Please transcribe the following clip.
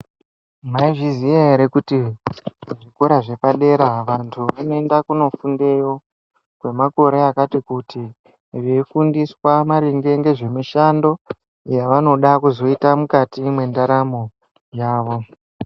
Maizviziya here kuti zvikora zvepadera vantu vanoenda kunofundeyo kwemakore akati kuti veifundiswa maringe ngezvemushando yaanoda kuzoita mukati mwendaramo yawo.